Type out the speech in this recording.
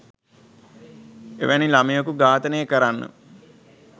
එවැනි ළමයකු ඝාතනය කරන්න